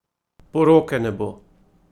Poroke ne bo!